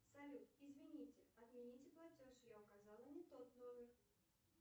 салют извините отмените платеж я указала не тот номер